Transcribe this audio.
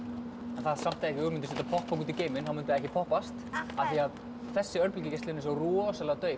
það er samt ein hugmynd að senda popp út í geiminn þá myndi það ekki poppast af því þessi örbylgjugeislun er svo rosalega dauf